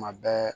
Kuma bɛɛ